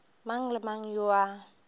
mang le mang yo a